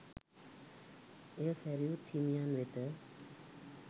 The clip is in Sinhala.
එය සැරියුත් හිමියන් වෙත